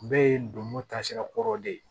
Bɛɛ ye ndomo taasira kɔrɔ de ye